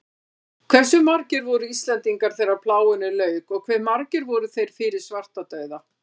Hversu margir voru Íslendingar þegar plágunni lauk og hve margir voru þeir fyrir svartadauða?